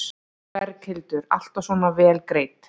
Berghildur: Alltaf svona vel greidd?